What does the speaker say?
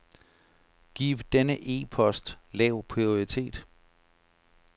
Giv denne e-post lav prioritet.